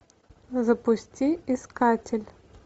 запусти искатель